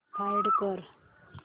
find कर